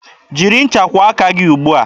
Jiri ncha kwụọ aka gị ugbua!